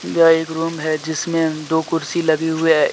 यह एक रूम है जिसमें दो कुर्सी लगे हुए हैं ए--